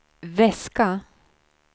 väska